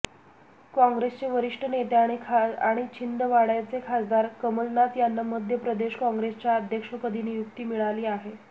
काँग्रेसचे वरिष्ठ नेते आणि छिंदवाडय़ाचे खासदार कमलनाथ यांना मध्यप्रदेश काँग्रेसच्या अध्यक्षपदी नियुक्ती मिळाली आहे